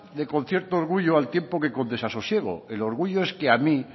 de con cierto orgullo al tiempo que con desasosiego el orgullo es que a mí